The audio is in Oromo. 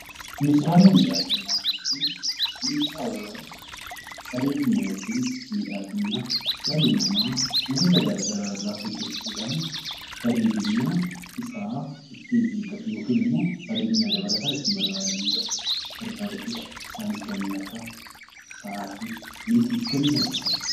Meeshaalee miidhaginaa jechuun meeshaalee bareedina yookiin miidhagina dhalli namaa wantoota garaagaraa irraa hojjachuudhaan bareedina isaa ittiin eeggatu yookaan bareedina dabalataa ittiin argatudha. Isaanis kanneen akka sa'aatii, meetii fi kanneen kana fakkaatanidha